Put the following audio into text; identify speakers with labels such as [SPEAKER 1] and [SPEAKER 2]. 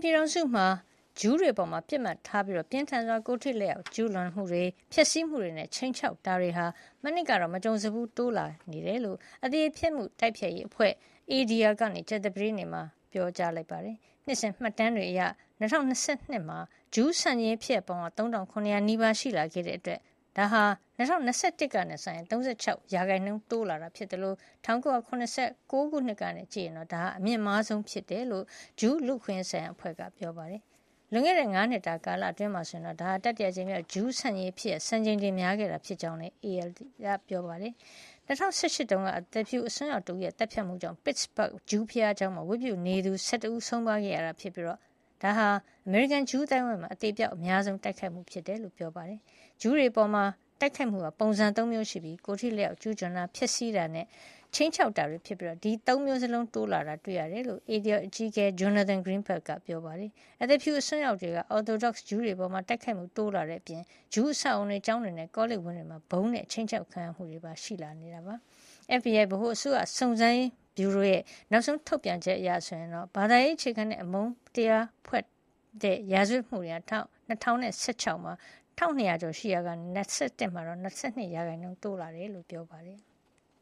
[SPEAKER 1] ပြည်ထောင်စုမှာ ဂျူးတွေအပေါ် ပစ်မှတ်ထားပြီး ပြင်းထန်စွာ ကိုယ်ထိ လက်ရောက် ကျူးလွန်မှုတွေ၊ ဖျက်ဆီးမှုတွေနဲ့ ခြိမ်းခြောက်မှုတွေဟာ မနှစ်တုန်းက မကြုံစဖူး ထပ်တိုးလာနေတယ်လို့ အသရေဖျက်မှု တိုက်ဖျက်ရေးအဖွဲ့ ADL က ကြာသာပတေးနေ့မှာ ပြောပါတယ်။ နှစ်စဉ် မှတ်တမ်းတွေရ ၂၀၂၂ ခုနှစ်မှာ ဂျူးဆန့်ကျင်ရေး ဖြစ်ရပ်ပေါင်း ၃,၇၀၀ နီးပါး ရှိခဲ့တာကြောင့် ဒါဟာ ၂၀၂၁ ကနဲ့ စာရင် ၃၆ % တိုးလာတာဖြစ်သလို ၁၉၇၉ ခုနှစ်က စကြည့်ရင်တော့ ဒါဟာ အမြင့်မားဆုံးဖြစ်ကြောင်း ဂျူးလူ့အခွင့်ရေးဆိုင်ရာအဖွဲ့က ပြောပါတယ်။ လွန်ခဲ့တဲ့ ၅ နှစ်တာ ကာလအတွင်းမှာဆိုရင်တော့ ဒါဟာ တတိယအကြိမ်မြောက် ဂျူးဆန့်ကျင်ရေးဖြစ်ရပ် စံချိန်တင် များခဲ့တာဖြစ်ကြောင်းလည်း ALD က ပြောပါတယ်။ ၂၀၁၈ တုန်းက လူဖြူ အစွန်းရောက်တဦးရဲ့ သတ်ဖြတ်မှုကြောင့် Pittsburgh ဂျူးဘုရားကျောင်းမှာ ဝတ်ပြုနေသူ ၁၁ ဦး ဆုံးပါးခဲ့ရပြီး ဒါဟာ အမေရိကန်ဂျူး အသိုင်းအဝိုင်းမှာ အသေအပျောက် အများဆုံး တိုက်ခိုက်ခံရမှုဖြစ်ကြောင်းလည်း ပြောပါတယ်။ ဂျူးတွေအပေါ် ကျူးလွန်တဲ့ တိုက်ခိုက်မှု ပုံစံက ၃ မျိုးရှိပြီး ကိုယ်ထိလက်ရောက် ကျူးလွန်တာ၊ ဖျက်ဆီးတာနဲ့ ခြိမ်းခြောက်တာတွေဖြစ်ပြီး၊ ဒီ ၃ မျိုးစလုံး တိုးလာတာ တွေ့ရတယ်လို့ ADL အကြီးအကဲ Jonathan Greenblatt က ပြောပါတယ်။ လူဖြူ အစွန်းရောက်တွေက Orthodox ဂျူးတွေအပေါ် တိုက်ခိုက်မှုတွေ တိုးလာတဲ့အပြင် ဂျူးအဆောက်အအုံတွေ၊ ကျောင်းတွေနဲ့ ကောလိပ်ဝင်းတွေမှာ ဗုံးနဲ့ အခြိမ်းခြောက်ခံရမှုတွေပါ ရှိလာတယ်လို့ ပြောပါတယ်။ FBI ဗဟိုအစိုးရ စုံစမ်းစစ်ဆေးရေး ဗျူရိုရဲ့ နောက်ဆုံး ထုတ်ပြန်ချက်အရ ဘာသာရေး အခြေခံတဲ့ အမုန်းပွါးရာဇဝတ်မှုတွေဟာ ၂၀၁၆ မှာ ၁,၂၀၀ ကျော်ရှိနေရာကနေ ၂၀၂၁ မှာတော့ ၂၂ % တိုးလာတယ်လို့ ဖေါ်ပြထားပါတယ်။